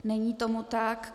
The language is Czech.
Není tomu tak.